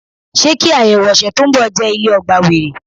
Ṣé kí ayẹwo ọ̀sẹ̀ tó ń bọ̀ jẹ́ ilé ọgbà were?